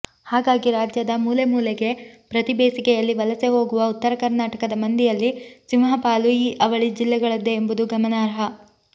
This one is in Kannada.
ಹಾಗಾಗಿ ರಾಜ್ಯದ ಮೂಲೆಮೂಲೆಗೆ ಪ್ರತಿ ಬೇಸಿಗೆಯಲ್ಲಿ ವಲಸೆ ಹೋಗುವ ಉತ್ತರಕರ್ನಾಟಕದ ಮಂದಿಯಲ್ಲಿ ಸಿಂಹಪಾಲು ಈ ಅವಳಿ ಜಿಲ್ಲೆಗಳದ್ದೇ ಎಂಬುದು ಗಮನಾರ್ಹ